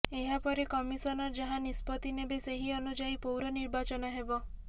ଏହାପରେ କମିସନର ଯାହା ନିଷ୍ପତ୍ତି ନେବେ ସେହି ଅନୁଯାୟୀ ପୌର ନିର୍ବାଚନ ହେବ